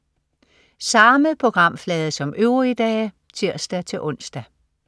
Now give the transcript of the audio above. Samme programflade som øvrige dage (tirs-ons)